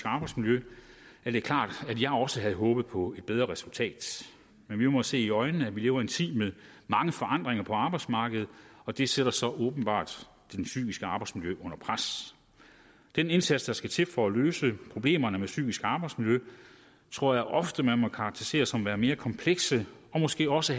arbejdsmiljø er det klart at jeg også havde håbet på et bedre resultat men vi må se i øjnene at vi lever i en tid med mange forandringer på arbejdsmarkedet og de sætter så åbenbart det psykiske arbejdsmiljø under pres den indsats der skal til for at løse problemerne med psykisk arbejdsmiljø tror jeg ofte man må karakterisere som værende mere kompleks og måske også